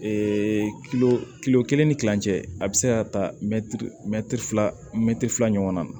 kelen ni kilancɛ a bɛ se ka ta mɛtiri fila mɛtiri fila ɲɔgɔnna